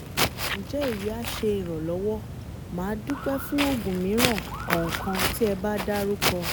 Nje eyi a se iranlowo? Madupe fun ogun miran kan kan ti eba daruko